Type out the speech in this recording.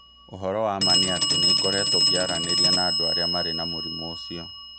Ũhoro wa ma nĩ atĩ nĩ ngoretwo ngĩaranĩria na andũ arĩa marĩ na mũrimũ ũcio.